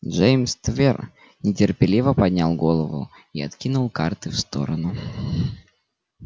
джеймс твер нетерпеливо поднял голову и откинул карты в сторону